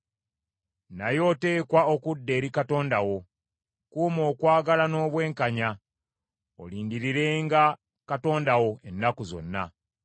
Naye oteekwa okudda eri Katonda wo; kuuma okwagala n’obwenkanya, olindirirenga Katonda wo ennaku zonna.